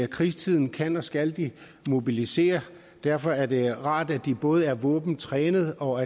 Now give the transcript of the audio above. krigstid kan og skal de mobiliseres derfor er det rart at de både er våbentrænede og